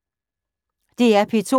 DR P2